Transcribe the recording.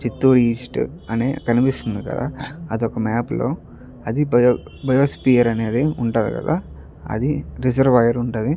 Chittoor east అనే కనిపిస్తుంది కదా హా అది ఒక మ్యాప్ లో అది బయోస్పియర్ అనేది ఉంటది కదా అది రిజర్వాయర్ ఉంటది.